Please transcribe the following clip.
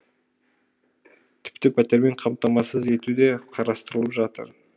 тіпті пәтермен қамтамасыз ету де қарастырылып жатыр